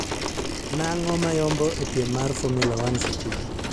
Nang'o mayombo epiem mar formula one sechegi